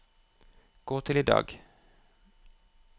gå til i dag